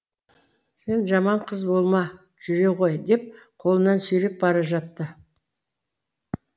сен жаман қыз болма жүре ғой деп қолынан сүйреп бара жатты